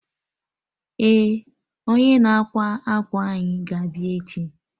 Eh, onye na-ákwà akwa anyị ga abịa echi